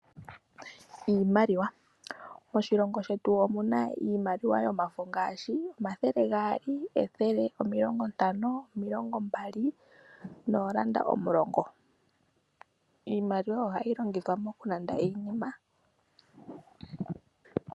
Iimaliwa. Moshilongo shetu omuna iimaliwa yomafo ngaashi omathele gaali, ethele, omilongo ntano, omilongo mbali noolanda omulongo iimaliwa ohayi longithwa mokulanda iinima.